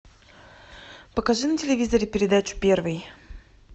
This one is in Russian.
покажи на телевизоре передачу первый